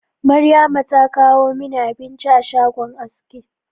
Maryama ta kawo mini abinci a shagon aski